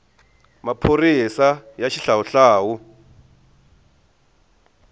maphorisaya xihlawuhlawu